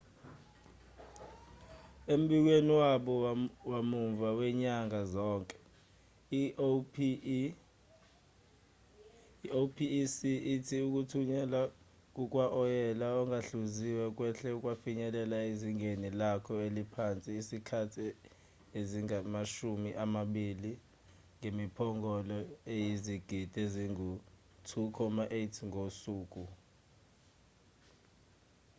embikweni wabo wamuva wanyanga zonke i-opec ithi ukuthunyelwa kukawoyela ongahluziwe kwehle kwafinyelela ezingeni lako eliphansi izikhathi ezingamashumi amabili ngemiphongolo eyizigidi ezingu-2.8 ngosuku